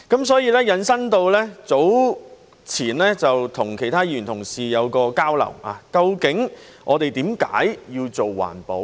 所以，我們早前曾與其他議員同事進行交流，究竟我們為何要做環保？